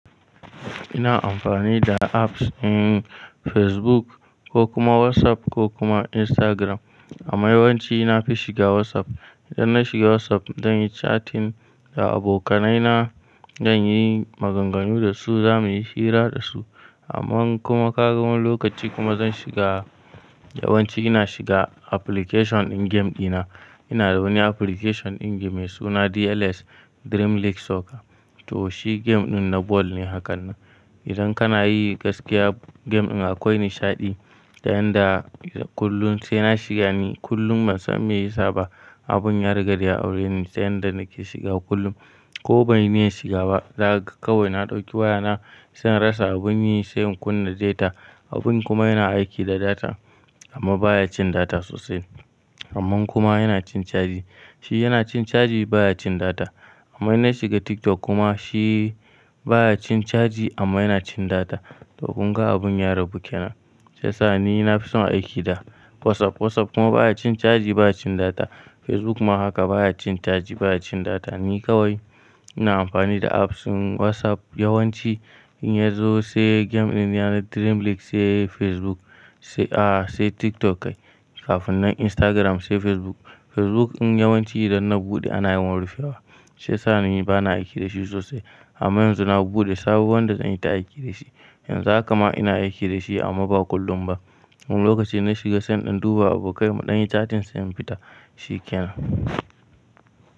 Ina amfani da apps in Facebook ko kuma WhatsApp ko kuma Instagram. Amma yawanci nafi shiga WhatsApp. Idan na shiga WhatsApp, zan yi chatting da abokanaina, zan yi maganganu da su, zamuyi hira da su. Amman kuma ƙaga wani lokaci kuma zan shiga, yawanci ina shiga application din game dina. Ina da wani application din game da suna DLS, Dream League Soccer. To shi game din na ball ne hakanan. Idan kana yi gaskiya game din akwai nishaɗi da yanda kullum sai na shiga ne kullum ban san meyisa ba. Abin yariga da ya aure ne sai yanda nake shiga kullum. Ko banyi niyan shiga ba, daka ga kawai na ɗauki wayana, sai in rasa abun yi sai in kunna data. Abin kuma yana aiki da data amma baya cin data sosai. Amman kuma yana cin caji. Shi yana cin caji baya cin data. Amma in na shiga TikTok kuma shi baya cin caji amma yana cin data. To kunga abun ya rabu ke nan. Shi yasa ni nafison aiki da WhatsApp. WhatsApp kuma baya cin caji baya cin data. Facebook ma haka baya cin caji baya cin data. Ni kawai ina amfani da apps din WhatsApp yawanci in yazo sai game din yana Dream League sai Facebook sai ah sai TikTok kai kafin nan Instagram sai Facebook. Facebook in yawanci idan na buɗe ana yawan rufewa. Shi yasa ni bana aiki da shi sosai. Amma yanzu na buɗe sabo wanda zan yi ta aiki da shi. Yanzu haka ma ina aiki da shi amma ba kullum ba. Wani lokaci in na shiga sai in duba abokaina muɗan yi chatting sai in fita. Shi ke nan.